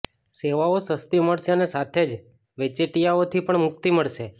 સેવાઓ સસ્તી મળશે અને સાથે જ વચેટિયાઓથી પણ મુક્તિ મળશે